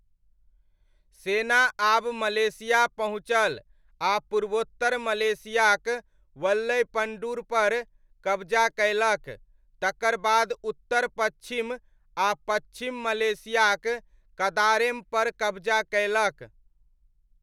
सेना आब मलेशिया पहुँचल आ पूर्वोत्तर मलेशियाक वल्लैपण्डुरपर कबजा कयलक, तकर बाद उत्तर पच्छिम आ पच्छिम मलेशियाक कदारेमपर कबजा कयलक।